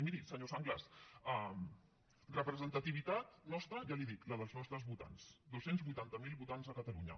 i miri senyor sanglas representativitat nostra ja li ho dic la dels nostres votants dos cents i vuitanta miler votants a catalunya